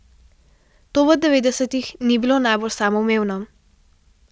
To v devetdesetih ni bilo najbolj samoumevno.